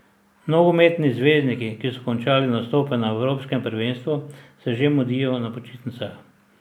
Nogometni zvezdniki, ki so končali nastope na evropskem prvenstvu, se že mudijo na počitnicah.